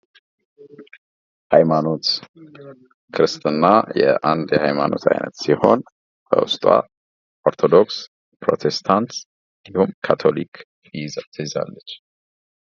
የኢትዮጵያ ኦርቶዶክስ ተዋህዶ ቤተ ክርስቲያን: በኢትዮጵያ ውስጥ እጅግ ጥንታዊ እና ትልቁ የክርስትና እምነት ተቋም ነው።